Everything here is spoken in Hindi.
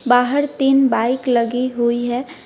बाहर तीन बाइक लगी हुई है।